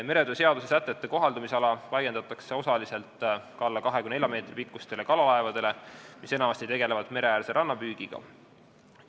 Meretöö seaduse sätete kohaldumisala laiendatakse osaliselt ka alla 24 meetri pikkustele kalalaevadele, mis enamasti tegelevad rannapüügiga.